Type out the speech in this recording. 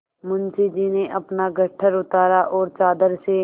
मुंशी जी ने अपना गट्ठर उतारा और चादर से